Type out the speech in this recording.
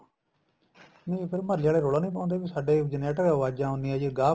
ਨਹੀਂ ਫੇਰ ਮੁਹਲੇ ਵਾਲੇ ਰੋਲਾ ਨੀਂ ਪਾਉਂਦੇ ਸਾਡੇ generator ਅਵਾਜਾ ਆਉਂਦੀਏ ਜੀ ਗਾਹ